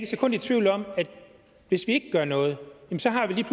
sekund i tvivl om at hvis vi ikke gør noget så har vi lige